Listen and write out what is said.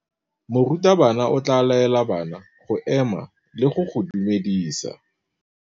Morutabana o tla laela bana go ema le go go dumedisa.